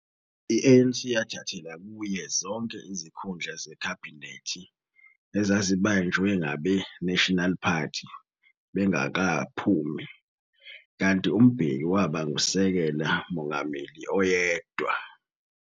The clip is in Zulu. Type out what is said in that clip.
I-ANC yathathela kuyo zonke izikhundla zekhabhinethi ezazibanjwe ngabe-National Party bengakaphumi, kanti uMbeki waba nguSekela Mongameli oyedwa.